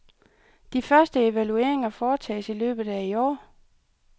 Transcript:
De første evalueringer foretages i løbet af i år.